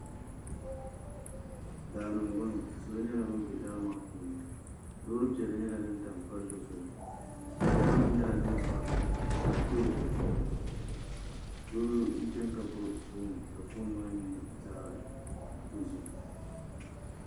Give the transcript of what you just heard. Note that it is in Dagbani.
Daani n boŋo salo nyɛla bin bɛ daa maa puuni loori piɛlli nyɛla din tam palli zuɣu kpakpa nim nyɛla din pa toroko zuɣu doo n chɛni ka gbubi foon ka foon maa nyɛ zaɣ dozim